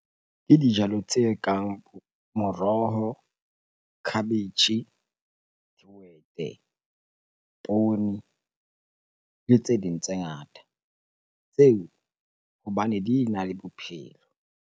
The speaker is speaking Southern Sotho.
Ke dijalo tse kang moroho, khabetjhe, dihwete, poone le tse ding tse ngata. Tseo hobane dina le bophelo.